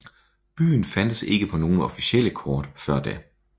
Byen fandtes ikke på nogen officielle kort før da